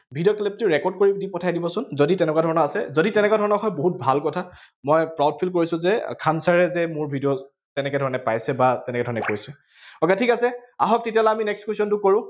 video clip টো record কৰি কিনে মোক পঠাই দিবচোন, যদি তেনেকুৱা ধৰণৰ আছে, যদি তেনেকুৱা ধৰণৰ হয় বহুত ভাল কথা। মই proud feel কৰিছো যে, খান sir এ যে মোৰ video তেনেকে ধৰনে পাইছে, বা তেনেকে ধৰনে কৈছে। বাৰু ঠিক আছে, আহক তেতিয়া হলে আমি next question টো কৰো।